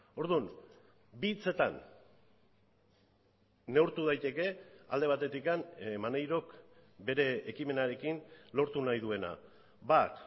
orduan bi hitzetan neurtu daiteke alde batetik maneirok bere ekimenarekin lortu nahi duena bat